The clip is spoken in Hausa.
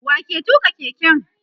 wa ke tuka keken?